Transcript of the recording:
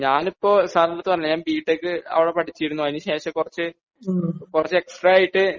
ഞാനിപ്പോ സാരിന്റെയെടുത്ത് പറഞ്ഞില്ലേ ഞാൻ ബി ടെക് അവിടെ പടിച്ചിരുന്നു അതിനു ശേഷം കുറച്ച് കുറച്ച് എക്സ്ട്രാ ആയിട്ട്